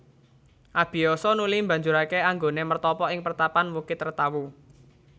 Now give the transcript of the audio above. Abiyasa nuli mbanjurake anggoné mertapa ing pertapan Wukit Retawu